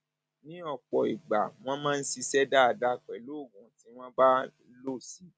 ní ọpọ ìgbà wọn máa ń ṣiṣẹ dáadáa pẹlú oògùn tí wọn bá lò sí i